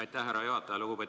Aitäh, härra juhataja!